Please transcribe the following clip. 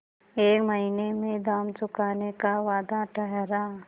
एक महीने में दाम चुकाने का वादा ठहरा